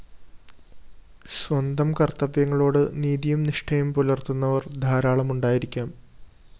സ്വന്തം കര്‍ത്തവ്യങ്ങളോട് നീതിയും നിഷ്ഠയും പുലര്‍ത്തുന്നവര്‍ ധാരാളം ഉണ്ടായിരിക്കാം